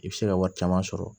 I bɛ se ka wari caman sɔrɔ